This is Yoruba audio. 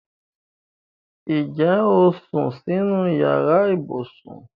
Ǹjẹ́ o sún sínú yàrá ibùsùn?